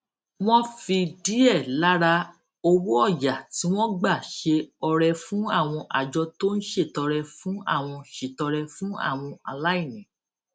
wón fi díè lára owó òyà tí wón gbà ṣe ọrẹ fún àwọn àjọ tó ń ṣètọrẹ fún àwọn ṣètọrẹ fún àwọn aláìní